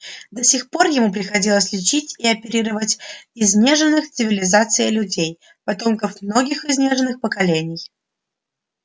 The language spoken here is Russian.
до сих пор ему приходилось лечить и оперировать изнеженных цивилизацией людей потомков многих изнеженных поколений